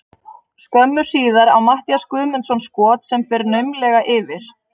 Skömmu síðar á Matthías Guðmundsson skot sem fer naumlega yfir.